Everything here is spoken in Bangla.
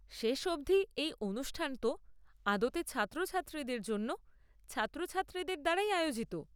শেষ অবধি, এই অনুষ্ঠান তো আদতে ছাত্রছাত্রীদের জন্য ছাত্রছাত্রীদের দ্বারাই আয়োজিত।